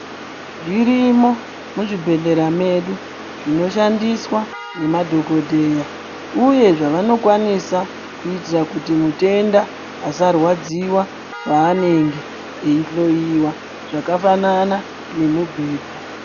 Zvirimo muzvibhedhleya medu zvinoshandiswa nemadhokodheya uye zvavanokwanisa kuitira kuti mutenda asarwadziwa paanenge eihloyiwa zvakafanana nemubhedha.